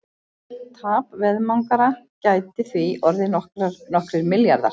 Tap veðmangara gæti því orðið nokkrir milljarðar.